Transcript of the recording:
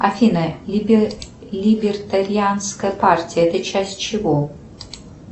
афина либертарианская партия это часть чего